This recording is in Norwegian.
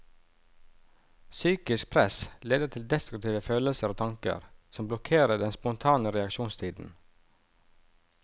Psykisk press leder til destruktive følelser og tanker, som blokkerer den spontane reaksjonstiden.